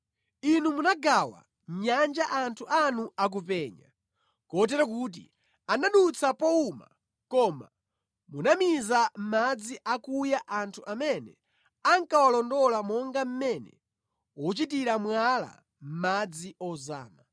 Inu munagawa nyanja anthu anu akupenya, kotero kuti anadutsa powuma, koma munamiza mʼmadzi akuya anthu amene ankawalondola monga mmene uchitira mwala mʼmadzi ozama.